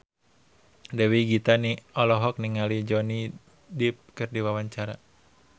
Dewi Gita olohok ningali Johnny Depp keur diwawancara